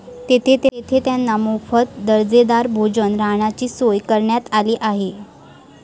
तेथे त्यांना मोफत दर्जेदार भोजन, राहण्याची सोय करण्यात आली आहे.